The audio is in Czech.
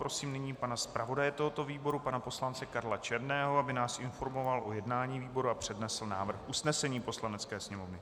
Prosím nyní pana zpravodaje tohoto výboru, pana poslance Karla Černého, aby nás informoval o jednání výboru a přednesl návrh usnesení Poslanecké sněmovny.